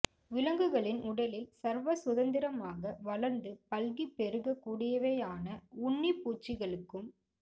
விலங்குகளின் உடலில் சர்வ சுதந்திரமாக வளர்ந்து பல்கிப் பெருகக் கூடியவையான உண்ணிப்பூச்சிகளுக்கும்